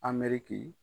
A mɛriki